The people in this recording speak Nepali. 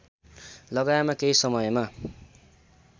लगाएमा केही समयमा